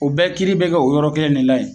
O bɛɛ kiiri be kɛ o yɔrɔ kelen de la yen